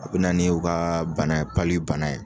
U bɛ na ni o ka bana ye, bana ye